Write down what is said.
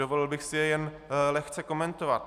Dovolil bych si je jen lehce komentovat.